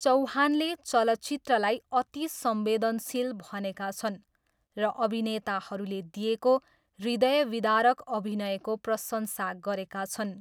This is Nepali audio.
चौहानले चलचित्रलाई 'अति संवेदनशील' भनेका छन् र अभिनेताहरूले दिएको 'हृदयविदारक' अभिनयको प्रशंसा गरेका छन्।